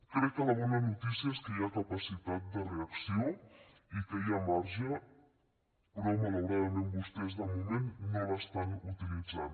crec que la bona notícia és que hi ha capacitat de reacció i que hi ha marge però malauradament vostès de moment no l’estant utilitzant